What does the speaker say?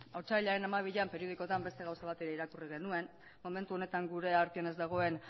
otsailaren hamabian periodikoetan beste gauza bat irakurri genuen momentu honetan gure artean ez dagoen